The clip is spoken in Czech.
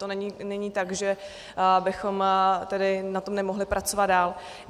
To není tak, že bychom tedy na tom nemohli pracovat dál.